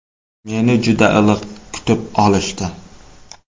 Meni juda iliq kutib olishdi.